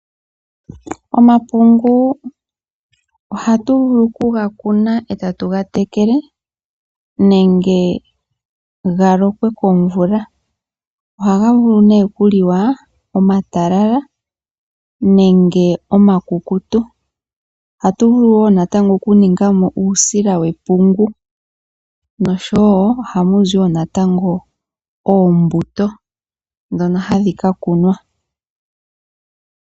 Omapungu ohatu vulu okuga kuna etatu gatekele nenge galokwe komvula. Ohaga vulu okuliwa omatalala nenge omakukutu . Ohatu vulu okuningamo uusila wepungu noshowoo ohamu zi wo natango oombuto ndhono hadho kakunwa.